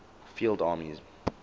field armies